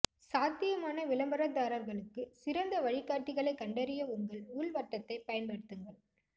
சாத்தியமான விளம்பரதாரர்களுக்கு சிறந்த வழிகாட்டிகளை கண்டறிய உங்கள் உள் வட்டத்தை பயன்படுத்துங்கள்